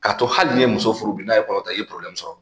K'a to hali n'i ye muso furu bi n'a ye kɔrɔta i ye sɔrɔ